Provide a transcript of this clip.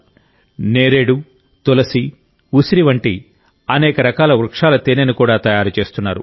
జామున్ తేనె తులసి తేనె ఉసిరి తేనె వంటి రకరకాల వృక్షాల తేనెను కూడా తయారు చేస్తున్నారు